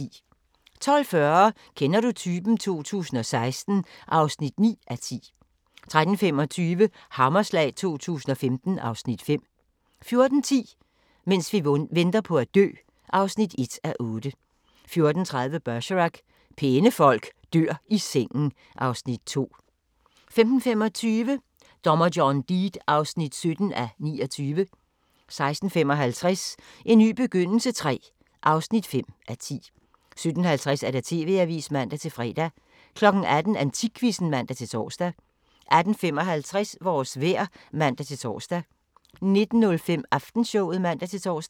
12:40: Kender du typen? 2016 (9:10) 13:25: Hammerslag 2015 (Afs. 5) 14:10: Mens vi venter på at dø (1:8) 14:30: Bergerac: Pæne folk dør i sengen (Afs. 2) 15:25: Dommer John Deed (17:29) 16:55: En ny begyndelse III (5:10) 17:50: TV-avisen (man-fre) 18:00: Antikquizzen (man-tor) 18:55: Vores vejr (man-tor) 19:05: Aftenshowet (man-tor)